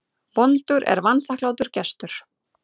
Vondur er vanþakklátur gestur.